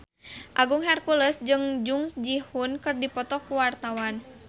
Agung Hercules jeung Jung Ji Hoon keur dipoto ku wartawan